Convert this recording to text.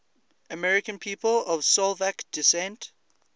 american people of slovak descent